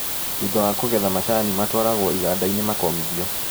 Thutha wa kũgetha macani matwaragwo igandainĩ makomithio.